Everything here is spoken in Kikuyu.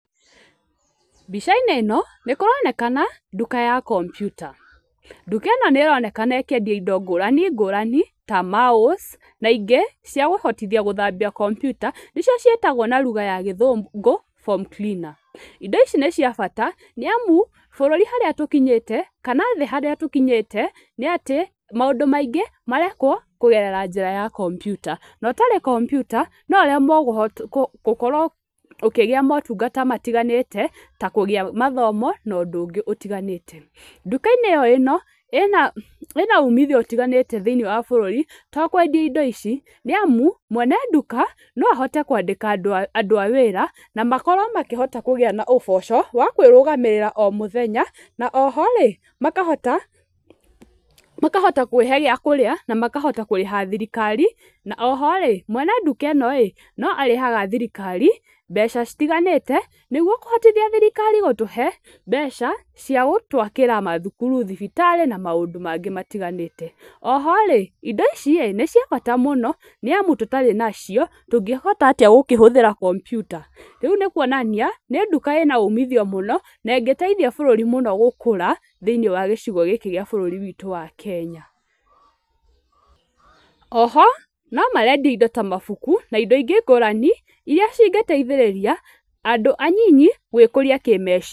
Mbica-inĩ ĩno nĩ kũronekana nduka ya computer, nduka ĩno nĩ ĩronekana ĩkĩendia indo ngũrani ngũrani ta mouse na ingĩ cĩa kũhotithia gũthambia computer nĩcĩo cĩetagwo na lugha ya gĩthũngũ foam cleaner indo ici nĩ cia bata, nĩamu bũrũri harĩa tũkinyĩte kana thĩ harĩa tũkinyĩte, nĩ atĩ maũndũ maingĩ marekwo kũgerera njĩra ya computer na ũtarĩ computer no ũremwo gũkorwo ũkĩgĩa motungata matiganĩte ta kũgĩa mathomo na ũndũ ũngĩ ũtiganĩte. Nduka-inĩ ĩno ĩna umithio ũtiganĩte thĩiniĩ wa bũrũri to kwendia indo ici, nĩ amu mwene nduka no ahote kũandĩka andũ a wĩra na makorwo makĩhota kũgĩa na ũboco wa kũĩrũgamĩrĩra o mũthenya, na oho-rĩ makahota kũĩhe gĩa kũrĩa na makahota kũrĩha thirikari, na oho-rĩ mwene nduka ĩno-ĩ no arĩhaga thirikari mbeca citiganĩte, nĩguo kũhotithia thirikari gũtũhe mbeca cia gũtwakĩra mathukuru, thibitarĩ, na maũndũ mangĩ matiganĩte. Oho-rĩ indo ici-ĩĩ nĩ cia bata mũno, nĩ amu tũtarĩ nacio tũngĩhota atĩa gũkĩhũthĩra computer ? rĩu nĩ kũonania nĩ nduka ĩna umithio mũno ĩngĩteithia bũrũri mũno gũkũra thĩiniĩ wa gĩcigo gĩkĩ gĩa bũrũri wa Kenya. Oho no marendia indo ingĩ ta mabuku, na indo ingĩ ngũrani iria cingĩteithĩrĩria andũ anyinyi gũĩkũria kĩmeciria.